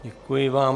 Děkuji vám.